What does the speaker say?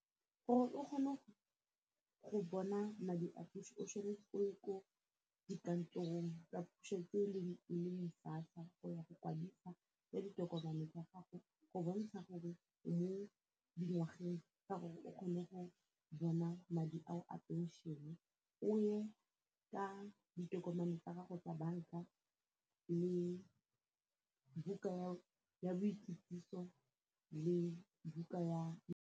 Gore o kgone go bona madi a puso o tshwanetse o ye ko dikantorong tsa puso tse e leng SASSA go ya go kwadisa ka ditokomane tsa gago go bontsha gore o mo dingwageng tsa gore o kgone go bona madi ao a pension-e o ye ka ditokomane tsa gago tsa bank-a le buka ya boikitsiso le buka ya.